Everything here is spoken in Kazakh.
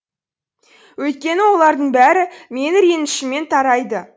өйткені олардың бәрі менің ренішімнен тарайды